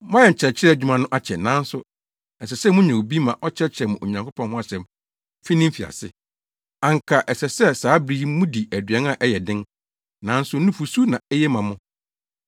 Moayɛ nkyerɛkyerɛ adwuma no akyɛ, nanso ɛsɛ sɛ munya obi ma ɔkyerɛkyerɛ mo Onyankopɔn ho asɛm fi ne mfiase. Anka ɛsɛ sɛ saa bere yi mudi aduan a ɛyɛ den, nanso nufusu na eye ma mo.